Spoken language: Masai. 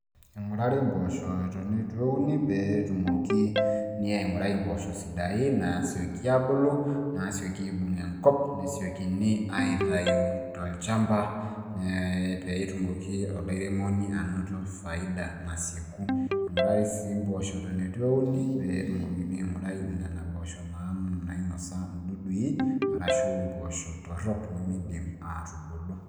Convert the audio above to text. ingurari impoosho eton eitu euni pee etumoki, aingurai impoosho sidain, naasioki aabulu, naasioki aibung' enkop. nesiokini aaitayu tolchampa, ee pee etumoki olairemoni anoto faida nasieku, ing'urari sii mpoosho eton eitu euni, pee etumokini aingurai nena poosho nainosa idudui arshu impoosho torok nimidim aatubulu.